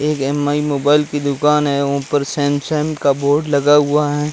एक M I mobile की दुकान है ऊपर सैमसंग का बोर्ड लगा हुआ है।